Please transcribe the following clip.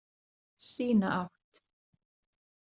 Sína átt.